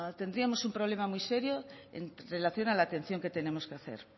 tendríamos un problema muy serio en relación a la atención que tenemos que hacer